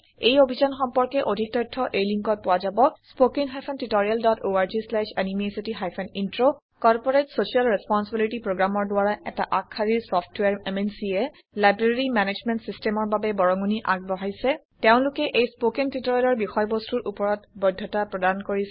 এই অভিযান সম্পৰ্কে অধিক তথ্য এই লিংকত পোৱা যাব httpspoken tutorialorgNMEICT Intro corporate social responsibility Programmeৰ দ্বাৰা এটা আগশাৰীৰ চফ্টৱেৰ MNCয়ে লাইব্ৰেৰী মেনেজমেণ্ট Systemৰ বাবে বৰঙনি আগবঢ়াইছে তেওলোকে এই স্পৌকেন টিওটৰিয়েলৰ বিষয়বস্তুৰ ওপৰত বৈধতা প্ৰদান কৰিছে